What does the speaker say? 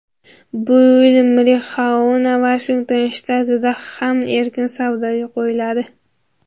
Bu yil marixuana Vashington shtatida ham erkin savdoga qo‘yiladi.